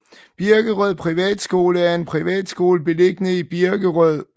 Birkerød Privatskole er en privatskole beliggende i Birkerød